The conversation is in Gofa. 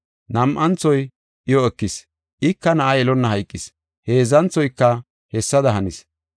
Nam7anthoy iyo ekis, ika na7a yelonna hayqis. Heedzanthoyka hessada hanis.